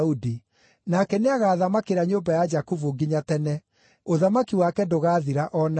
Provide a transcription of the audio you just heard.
nake nĩagathamakĩra nyũmba ya Jakubu nginya tene; ũthamaki wake ndũgaathira o na rĩ.”